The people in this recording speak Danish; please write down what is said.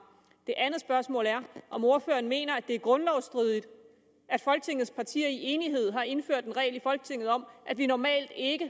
det andet spørgsmål er om ordføreren mener at det er grundlovsstridigt at folketingets partier i enighed har indført en regel i folketinget om at vi normalt ikke